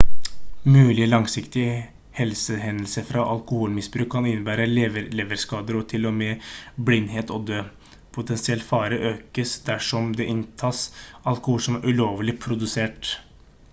mulige langsiktige helsehendelser fra alkoholmisbruk kan innebære leverskader og til og med blindhet og død potensiell fare økes dersom det inntas alkohol som er ulovlig produsert